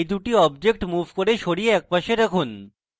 এই দুটি objects move করুন এবং সরিয়ে একপাশে রাখুন